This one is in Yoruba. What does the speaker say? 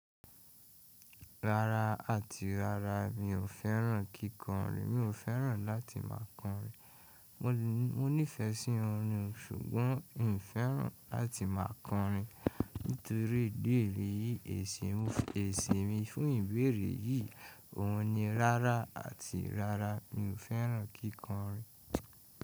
Rárá àti rárá mi ò fẹ́ràn kíkọrin, mi ò fẹ́ràn láti má a kọrin. Mo nífẹsí orin ó ṣùgbọ́n mi fẹ́ràn láti máa kọrin nítorí idi eyìí èsì mi fún ìbéèrè yìí, òun ni rárá àti rárá mi ò fẹ́ràn kíkọrin.